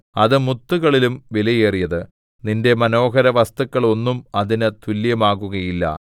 അത് മുത്തുകളിലും വിലയേറിയത് നിന്റെ മനോഹരവസ്തുക്കൾ ഒന്നും അതിന് തുല്യമാകുകയില്ല